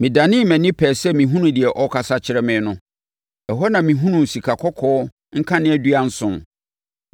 Medanee mʼani pɛɛ sɛ mehunu deɛ ɔrekasa kyerɛ me no. Ɛhɔ na mehunuu sikakɔkɔɔ nkaneadua nson.